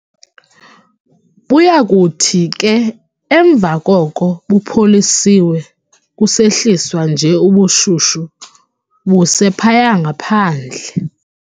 Buyakuthi ke emva koko bupholiswe kusehliswa nje ubushushu buse phaya ngaphandle.